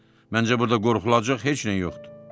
Məncə burda qorxulacaq heç nə yoxdur.